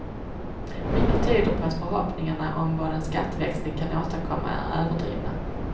Mycket tyder på att förhoppningarna om vad en skatteväxling kan åstadkomma är överdrivna.